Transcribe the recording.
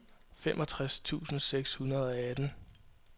femogtres tusind seks hundrede og atten